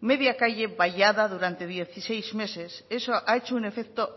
media calle vallada durante dieciséis meses eso ha hecho un efecto